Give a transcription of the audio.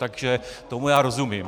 Takže tomu já rozumím.